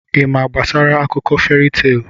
Ị ma gbasara akụkọ feri teelụ?